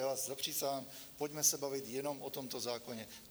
Já vás zapřísahám, pojďme se bavit jenom o tomto zákoně.